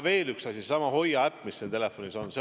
Veel üks asi, seesama HOIA äpp, mis telefonis on.